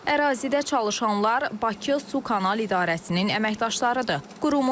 Ərazidə çalışanlar Bakı Sukanal İdarəsinin əməkdaşlarıdır.